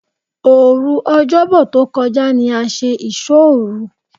Òru Ọ̀jọ́bọ̀ tó kọjá ní a ṣe ìsóòru.